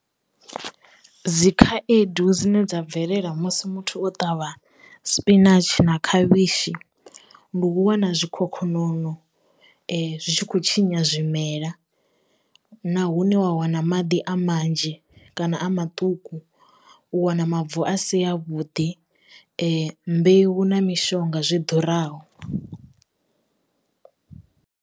Dzi khaedu dzine dza bvelela musi muthu o ṱavha spinatshi na khavhishi, ndi u wana zwikhokhonono zwi tshi khou tshinya zwimela na hune wa wana maḓi a manzhi kana a maṱuku u wana mavu a si a vhuḓi mbeu na mishonga zwi ḓuraho.